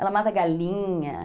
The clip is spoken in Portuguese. Ela mata galinha.